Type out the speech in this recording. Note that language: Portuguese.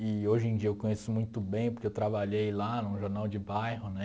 E hoje em dia eu conheço muito bem, porque eu trabalhei lá num jornal de bairro né.